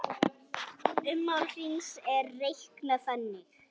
Ummál hrings er reiknað þannig